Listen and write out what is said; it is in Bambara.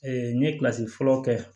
n ye fɔlɔ kɛ